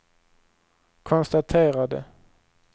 konstaterade